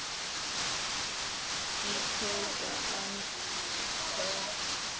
Dagný tók andköf.